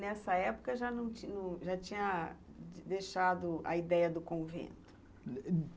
Nessa época, já não tinha, tinha deixado a ideia do convento?